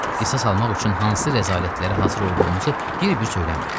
Qisas almaq üçün hansı rəzalətlərə hazır olduğunuzu bir-bir söyləməyin.